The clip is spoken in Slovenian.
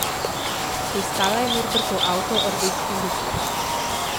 Poiskala je Norbertov avto, rdeč in bleščeč.